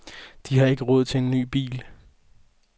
De har ikke råd til en ny bil.